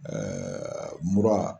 mura.